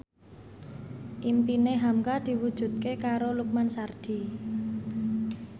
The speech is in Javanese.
impine hamka diwujudke karo Lukman Sardi